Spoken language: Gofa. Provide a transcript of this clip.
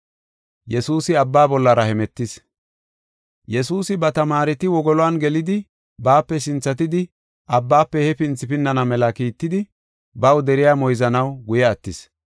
Yesuusi ba tamaareti wogolon gelidi baape sinthatidi abbaafe he pinthi pinnana mela kiittidi baw deriya moyzanaw guye attis.